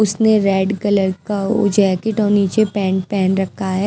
उसने red colour का वो जैकेट और नीचे पैंट पहन रखा है।